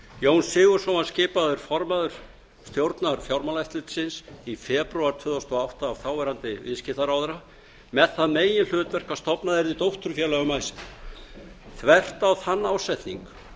jón sigurðsson var skipaður formaður stjórnar fjármálaeftirlitsins í febrúar tvö þúsund og átta af þáverandi viðskiptaráðherra með það meginhlutverk að stofnað yrði dótturfélag um icesave þvert á þann ásetning